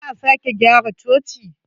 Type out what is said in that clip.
Za a sake gyara cocin.